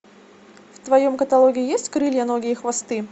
в твоем каталоге есть крылья ноги и хвосты